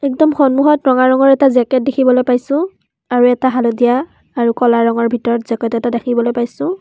একদম সন্মুখত ৰঙা ৰঙৰ এটা জেকেট দেখিবলৈ পাইছোঁ আৰু এটা হালধীয়া আৰু ক'লা ৰঙৰ ভিতৰত জেকেট এটা দেখিবলৈ পাইছোঁ।